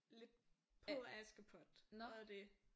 Lidt på Askepot og det